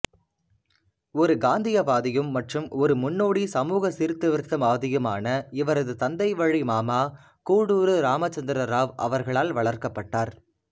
ஒரு காந்தியவாதியும் மற்றும் ஒரு முன்னோடி சமூக சீர்திருத்தவாதியுமான இவரது தந்தைவழி மாமா கூடூரு ராமச்சந்திர ராவ் அவர்களால் வளர்க்கப்பட்டா